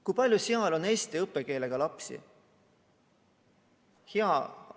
Kui palju seal on eesti õppekeelega lapsi?